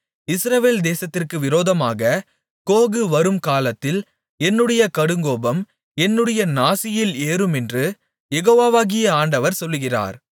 இஸ்ரவேல் தேசத்திற்கு விரோதமாக கோகு வரும்காலத்தில் என்னுடைய கடுங்கோபம் என்னுடைய நாசியில் ஏறுமென்று யெகோவாகிய ஆண்டவர் சொல்லுகிறார்